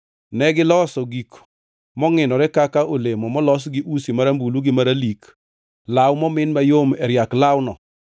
Negiloso gik mongʼinore kaka olemo molos gi usi marambulu gi maralik, law momin mayom e riak lawno.